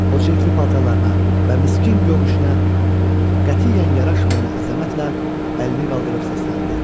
O çirkli paltarına və miskin görünüşünə qətiyyən yaraşmayan əzəmətlə əlini qaldırıb səsləndi: